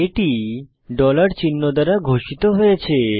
এটি চিহ্ন দ্বারা ঘোষিত হয়েছে